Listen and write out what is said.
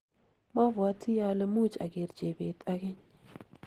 mabwatii ale much ager chebet ageny.